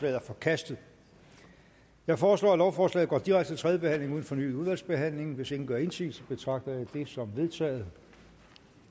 er forkastet jeg foreslår at lovforslaget går direkte til tredje behandling uden fornyet udvalgsbehandling hvis ingen gør indsigelse betragter jeg det som vedtaget